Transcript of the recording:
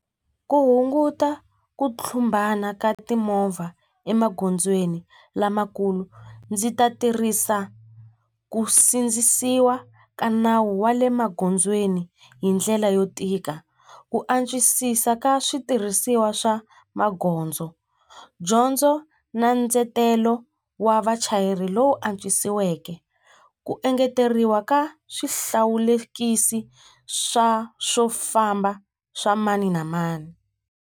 Ku hunguta ku tlumbana ka timovha emagondzweni lamakulu ndzi ta tirhisa ku sindzisiwa ka nawu wa le magondzweni hi ndlela yo tika ku antswisisa ka switirhisiwa swa magondzo dyondzo na ndzetelo wa vachayeri lowu antswisiweke ku engeteriwa ka swihlawulekisi swa swo famba swa mani na mani.